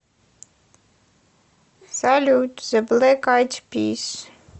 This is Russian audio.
салют зэ блэк айд пис